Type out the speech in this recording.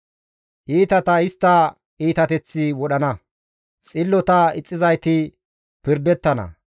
Iitata istta iitateththi wodhana; xillota ixxizayti pirdettana.